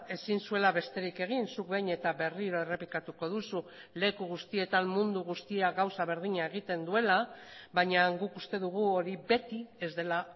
ezin zuela besterik egin zuk behin eta berriro errepikatuko duzu leku guztietan mundu guztia gauza berdina egiten duela baina guk uste dugu hori beti ez dela